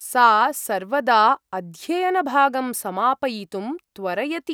सा सर्वदा अध्ययनभागं समापयितुं त्वरयति।